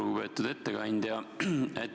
Lugupeetud ettekandja!